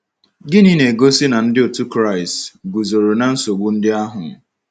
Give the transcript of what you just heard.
Gịnị na-egosi na ndị otu Kraịst guzoro na nsogbu ndị ahụ?